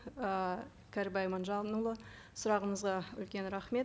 ы кәрібай иманжанұлы сұрағыңызға үлкен рахмет